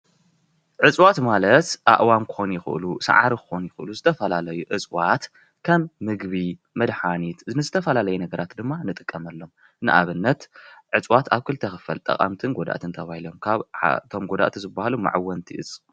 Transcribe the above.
እፅዋት ማለት ኣእዋም ክኾኑ ይክእሉ፡፡ ሳዕሪ ክኾኑ ይኽእሉ ።ዝተፈላለዩ እፅዋት ከም ምግቢ፣ መድሓኒት ንዝተፈላለዩ ነገራት ድማ ንጥቀመሎም ።ንኣብነት እፅዋት ኣብ ክልተ ይኽፈል ጠቀምትን ጎዳእትን ተባሃሉ ካብኡ ክዓ እቶም ጎዳእቲ ዝበሃሉ ምዕወርቲ እዚ፡፡